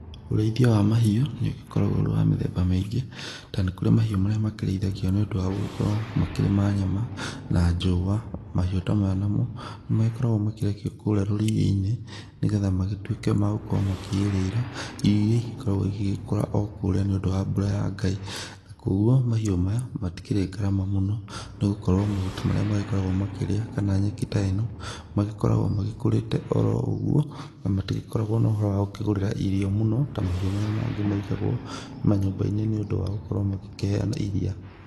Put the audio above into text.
Ũrĩithia wa mahiũ, nĩũgĩkoragwo ũrĩ wa mĩthemba mĩingĩ, na nĩ kũrĩ mahiũ marĩa makĩrĩithagio nĩũndũ wa gũgĩkorwo makĩrĩ ma nyama na njũa. Mahiũ ta maya namo, nĩmagĩkoragwo makĩrekio kũrĩa rũriĩ-inĩ, nĩgetha magĩtuĩke magũkorwo makĩrĩra irio iria igĩkoragwo igĩgĩkũra o kũrĩa nĩũndũ wa mbura ya Ngai. Na koguo mahiũ maya matikĩrĩ ngarama mũno, nĩ gũkorwo mahuti marĩa magĩkoragwo makĩrĩa kana nyeki ta ĩno, magĩkoragwo magĩkũrĩte oro ũguo na matigĩkoragwo na ũhoro wa gũkĩgũrĩra irio mũno, ta mahiũ marĩa mangĩ maigagwo manyũmba-inĩ nĩũndũ wa gũkorwo magĩkĩheana iria.